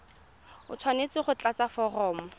o tshwanetse go tlatsa foromo